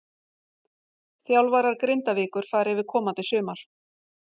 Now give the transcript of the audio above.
Þjálfarar Grindavíkur fara yfir komandi sumar.